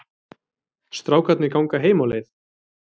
Strákarnir ganga heim á leið.